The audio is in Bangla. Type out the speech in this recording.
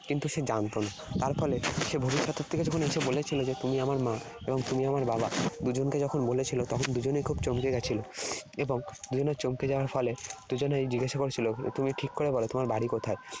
কিন্তু সে জানত না। তার ফলে সে ভবিষ্যতের থেকে যখন এসে বলেছিল যে তুমি আমার মা এবং তুমি আমার বাবা, দুজনকে যখন বলেছিল, তখন দুজনেই খুব চমকে গেছিল। এবং দুজনার চমকে যাওয়ার ফলে দুজনাই জিজ্ঞেস করছিল তুমি ঠিক করে বল তোমার কোথায়?